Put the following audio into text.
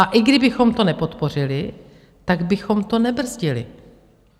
A i kdybychom to nepodpořili, tak bychom to nebrzdili.